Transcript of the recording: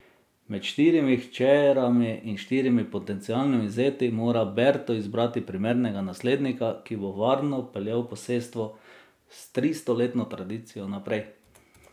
Med štirimi hčerami in štirimi potencialnimi zeti mora Berto izbrati primernega naslednika, ki bo varno peljal posestvo s tristoletno tradicijo naprej.